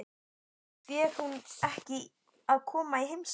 Fer hún ekki að koma í heimsókn?